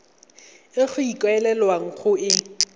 e go ikaelelwang go e